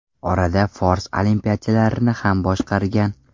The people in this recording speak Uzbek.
Orada fors olimpiyachilarini ham boshqargan.